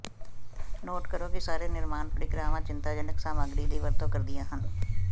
note ਕਰੋ ਕਿ ਸਾਰੇ ਨਿਰਮਾਣ ਪ੍ਰਕਿਰਿਆਵਾਂ ਚਿੰਤਾਜਨਕ ਸਾਮਗਰੀ ਦੀ ਵਰਤੋਂ ਕਰਦੀਆਂ ਹਨ